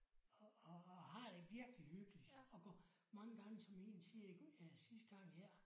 Og og og har det virkelig hyggeligt og går mange gange som én siger sidste gang her